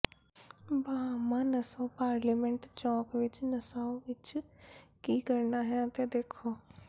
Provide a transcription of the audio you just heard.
Bahama Nassau parliament ਚੌਂਕ ਵਿੱਚ Nassau ਵਿੱਚ ਕੀ ਕਰਨਾ ਹੈ ਅਤੇ ਦੇਖੋ